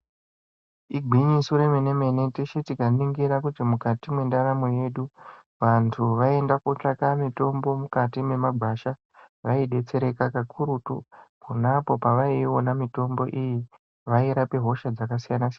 Igwinyiso remene mene, teshe tikaningira kuti mukati mwendaramo yedu, vantu vaienda kotsvaka mutombo mukati memagwasha vaidetsereka kakurutu. Ponapo pavaiiona mitombo iyi vairape hosha dzakasiyana siyana.